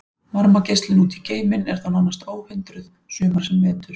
Varmageislun út í geiminn er þá nánast óhindruð sumar sem vetur.